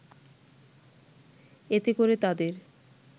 এতে করে তাদের